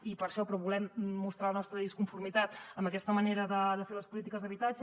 i per això però volem mostrar la nostra disconformitat amb aquesta manera de fer les polítiques d’habitatge